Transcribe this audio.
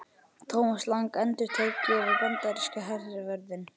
Thomas Lang endurtek ég við bandaríska hervörðinn.